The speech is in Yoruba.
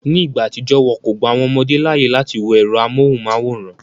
Ní ìgbà àtijọ́, wọn kò gba àwọn ọmọdé láàyè láti wo ẹ̀rọ amóhùnmáwòrán